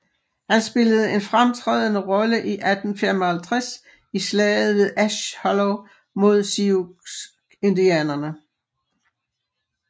Han spillede en fremtrædende rolle i 1855 i Slaget ved Ash Hollow mod Sioux indianerne